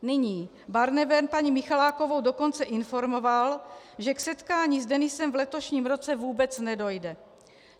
Nyní Barnevern paní Michalákovou dokonce informoval, že k setkání s Denisem v letošním roce vůbec nedojde.